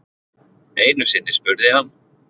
Einusinni spurði hann